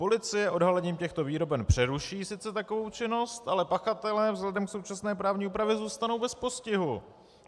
Policie odhalením těchto výroben přeruší sice takovou činnost, ale pachatelé vzhledem k současné právní úpravě zůstanou bez postihu.